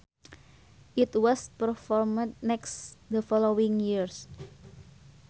It was performed next the following year